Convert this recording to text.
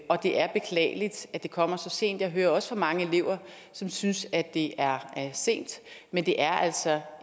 og det er beklageligt at det kommer så sent jeg hører også fra mange elever som synes at det er sent men det er altså